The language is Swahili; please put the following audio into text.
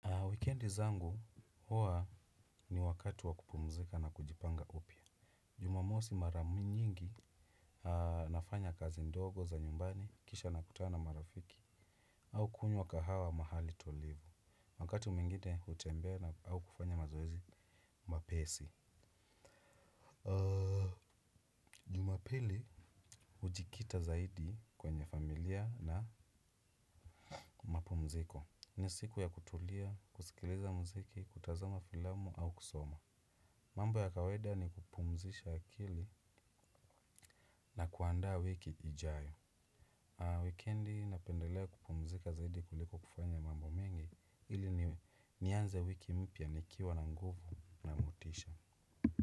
Weekendi zangu hua ni wakati wa kupumzika na kujipanga upya. Jumamosi mara nyingi nafanya kazi ndogo za nyumbani, kisha nakutana marafiki, au kunywa kahawa mahali tulivu. Wakati mwingine hutembea na au kufanya mazoezi mapesi. Jumapili hujikita zaidi kwenye familia na mapumziko. Ni siku ya kutulia, kusikiliza muziki, kutazama filamu au kusoma. Mambo ya kawaida ni kupumzisha akili na kuandaa wiki ijayo. Weekendi napendelea kupumzika zaidi kuliko kufanya mambo mengi ili nianze wiki mpya nikiwa na nguvu na motisha.